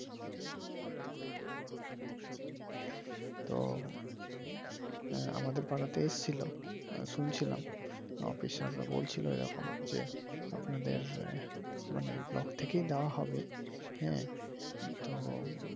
তো আমাদের পাড়াতে এসেছিলো শুনছিলাম অফিসাররা বলছিলো এইরকম যে আপনাদের মানে ব্লক থেকেই দেওয়া হবে হ্যাঁ তো